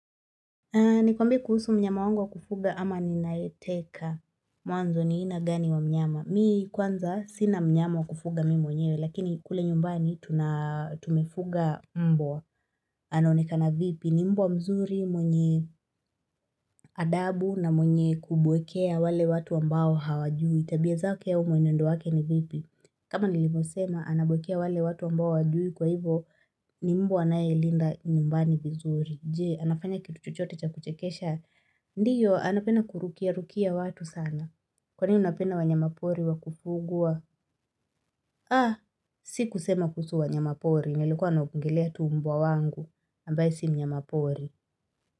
Nikwambie kuhusu mnyama wangu wa kufuga ama ninayeteka mwanzo ni aina gani wa mnyama. Mi kwanza sina mnyama wa kufuga mi mwenyewe lakini kule nyumbani tunat umefuga mbwa anaonekana vipi. Ni mbwa mzuri mwenye adabu na mwenye kubwekea wale watu ambao hawajui. Tabia zake au mwenendo wake ni vipi. Kama nilivo sema, anabwekea wale watu ambao hawajui kwa hivo ni mbwa anaye linda nyumbani vizuri. Je, anafanya kitu chochote cha kuchekesha. Ndiyo, anapenda kurukia rukia watu sana. Kwani, napenda wanyamapori wakufugwa. Ah, si kusema kuhusu wanyamapori. Nlikuwa naongelea tu mbwa wangu. Ambaye si mnyamapori.